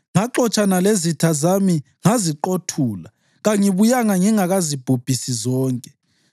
Ngaxotshana lezitha zami ngaziqothula; kangibuyanga ngingakazibhubhisi zonke.